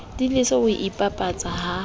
di lese ho ipapatsa ha